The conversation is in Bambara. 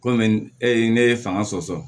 Komi e ye ne ye fanga sɔsɔ